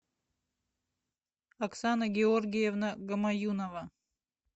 оксана георгиевна гамаюнова